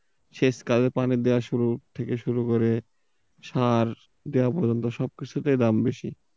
সেচ কালে পানি দেয়া শুরু, থেকে শুরু করে সার দেয়া পর্যন্ত সবকিছুতেই দাম বেশি।